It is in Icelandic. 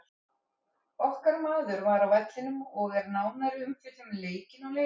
Okkar maður var á vellinum og er nánari umfjöllun um leikinn á leiðinni.